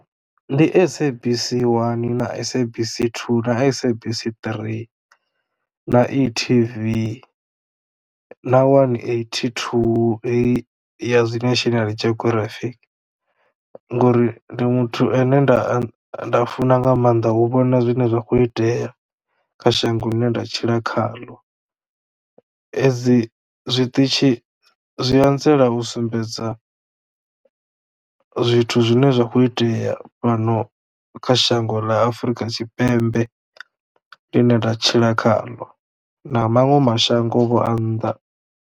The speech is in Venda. Ndi SABC 1 na SABC 2 na SABC 3 na e-TV na one eighty two ya zwi National Geography ngori ndi muthu ane nda anḓa nda funa nga maanḓa u vhona zwine zwa khou itea kha shango ḽine nda tshila khaḽo edzi zwiṱitshi zwi anzela u sumbedza zwithu zwine zwa khou itea fhano kha shango ḽa Afrika Tshipembe ḽi ne nda tshila khaḽo na maṅwe mashango Vho a nnḓa.